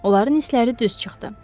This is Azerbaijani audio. Onların hisləri düz çıxdı.